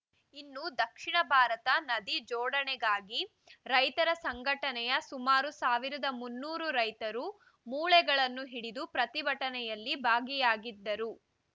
ಇನ್ನು ದಕ್ಷಿಣ ಭಾರತ ನದಿ ಜೋಡಣೆಗಾಗಿ ರೈತರ ಸಂಘಟನೆಯ ಸುಮಾರು ಸಾವಿರದ ಮುನ್ನೂರು ರೈತರು ಮೂಳೆಗಳನ್ನು ಹಿಡಿದು ಪ್ರತಿಭಟನೆಯಲ್ಲಿ ಭಾಗಿಯಾಗಿದ್ದರು